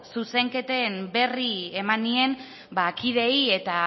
zuzenketen berri eman nien kideei eta